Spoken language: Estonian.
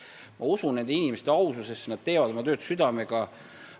Ma usun nende inimeste aususesse, nad teevad oma tööd südamega.